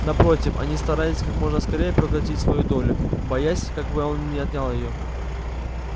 напротив они старались как можно скорее проглотить свою долю боясь как бы он не отнял её